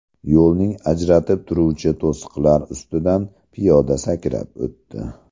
Yo‘lning ajratib turuvchi to‘siqlar ustidan piyoda sakrab o‘tdi.